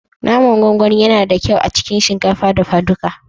Naman gwangwani yana kyau a cikin shinkafa dafaduka